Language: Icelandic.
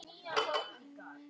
Hún dæsir.